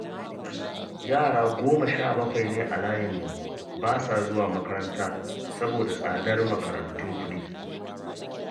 Yara goma sha bakwai ne a layinmu ba sa zuwa makaranta saboda tsadar makarantun kuɗi